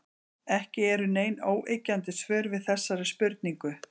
Ekki eru nein óyggjandi svör við þessari spurningu.